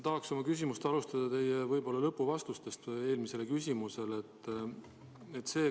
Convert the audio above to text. Tahaks oma küsimust alustada teie vastusest eelmisele küsimusele.